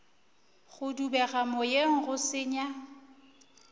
go dubega moyeng go senya